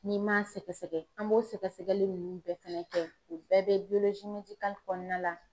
N'i m'a sɛgɛsɛgɛ an b'o sɛgɛsɛgɛli ninnu bɛɛ fɛnɛ kɛ u bɛɛ bɛ kɔnɔna la.